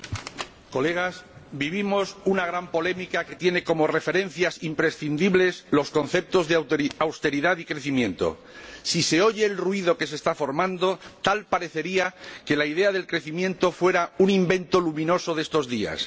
Señor Presidente, Señorías, vivimos una gran polémica que tiene como referencias imprescindibles los conceptos de austeridad y crecimiento. Si se oye el ruido que se está formando, tal parecería que la idea del crecimiento fuera un invento luminoso de estos días.